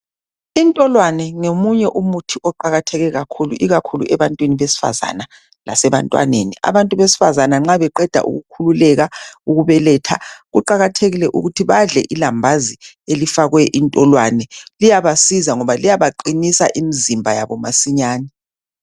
Intolwane ngomunye umuthi oqakatheke kakhulu ikakhulu ebantwini besifazana lasebantwaneni. Abantu besifazana nxa beqeda ukukhululeka ukubeletha kuqakathekile ukuthi badle ilambazi elifakwe intolwane. Liyabasiza ngoba liyabaqinisa imizimba yabo masinyane.